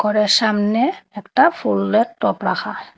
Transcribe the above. ঘরের সামনে একটা ফুলের টব রাখা হয়।